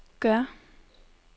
gør